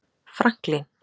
Franklín